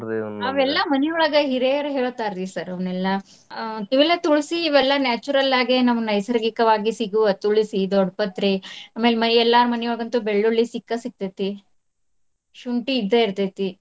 ಮನಿಯೊಳಗ ಹಿರೇಯರ್ ಹೇಳ್ತಾರಿ sir ಅವ್ನೆಲ್ಲಾ. ಆ ಇವೆಲ್ಲಾ ತುಳಸಿ ಇವೆಲ್ಲಾ natural ಆಗೇ ನಮಗ್ ನೈಸರ್ಗಿಕವಾಗಿ ಸಿಗುವ ತುಳಸಿ, ದೊಡ್ಡಪತ್ರಿ ಅಮ್ಯಾಲ ಮನಿ ಎಲ್ಲಾರ್ ಮನಿಯೊಳಗಂತ್ರು ಬೆಳ್ಳುಳ್ಳಿ ಸಿಕ್ಕ ಸಿಗ್ತೈತಿ. ಶುಂಠಿ ಇದ್ದ ಇರ್ತೈತಿ.